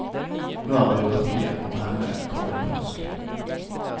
Nå er biografien om henne kommet på norsk.